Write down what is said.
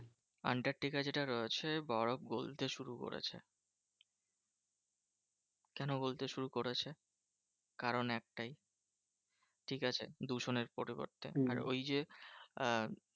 Antarctica যেটা রয়েছে বরফ গলতে শুরু করেছে। কেন গলতে শুরু করেছে? কারণ একটাই ঠিকাছে? দূষণের পরিবর্তে। আর ওই যে আহ